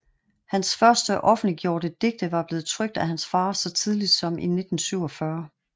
Hans første offentliggjorte digte var blevet trykt af hans far så tidligt som i 1947